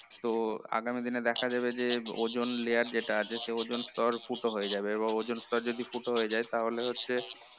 তো আগামী দিনে দেখা যাবে যে ozone layer যেটা আছে সে ozone স্তর ফুটো হয়ে যাবে এবং ozone স্তর যদি ফুটো হয়ে যায় তাহলে হচ্ছে